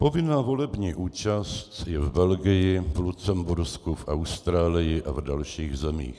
Povinná volební účast je v Belgii, v Lucembursku, v Austrálii a v dalších zemích.